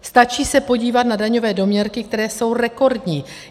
Stačí se podívat na daňové doměrky, které jsou rekordní.